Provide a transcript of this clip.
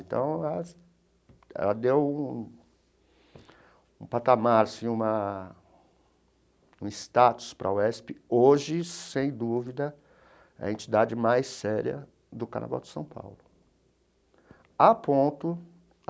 Então, ela deu um um patamar assim, uma um status para a UESP, hoje, sem dúvida, a entidade mais séria do Carnaval de São Paulo a ponto.